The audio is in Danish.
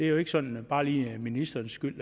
jo ikke sådan bare lige ministerens skyld